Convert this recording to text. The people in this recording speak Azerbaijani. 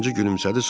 Zənci gülümsədi.